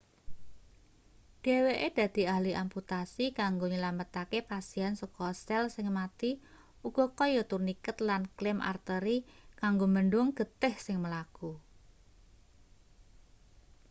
dheweke dadi ahli amputasi kanggo nylametake pasien saka sel sing mati uga kaya turniket lan klem arteri kanggo mbendhung getih sing mlaku